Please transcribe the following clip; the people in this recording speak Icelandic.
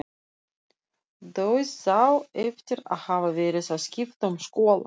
Dauðsá eftir að hafa verið að skipta um skóla.